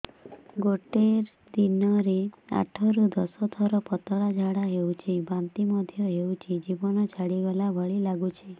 ଗୋଟେ ଦିନରେ ଆଠ ରୁ ଦଶ ଥର ପତଳା ଝାଡା ହେଉଛି ବାନ୍ତି ମଧ୍ୟ ହେଉଛି ଜୀବନ ଛାଡିଗଲା ଭଳି ଲଗୁଛି